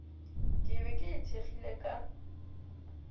ke be ke ithekgile ka